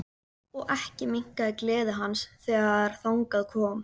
Og ekki minnkaði gleði hans þegar þangað kom.